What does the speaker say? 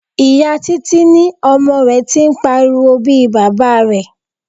Ìyá Títí ní ọmọ rẹ tí ń pariwo bí Baba rẹ.